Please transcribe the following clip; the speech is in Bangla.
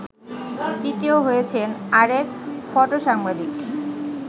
তৃতীয় হয়েছেন আরেক ফটোসাংবাদিক